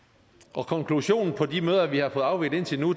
og konklusionen på de møder vi har fået afviklet indtil nu